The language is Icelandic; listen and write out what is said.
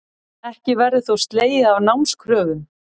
Ekki verður þó slegið af námskröfum